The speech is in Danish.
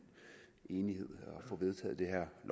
enighed